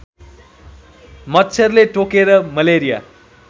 मच्छरले टोकेर मलेरिया